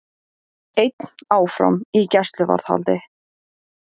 Einn áfram í gæsluvarðhaldi